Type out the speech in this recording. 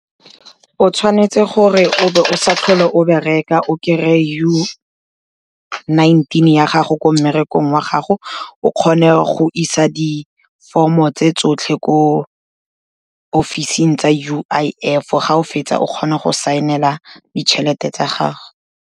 O tshwanetse gore o be o sa tlhole o bereka, o kry-e UI-nineteen ya gago ko mmerekong wa gago, o kgone go isa diformo tse tsotlhe ko office-ing tsa U_I_F, ga o fetsa o kgone go saenela ditšhelete tsa gago.